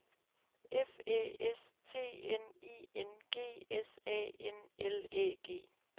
F Æ S T N I N G S A N L Æ G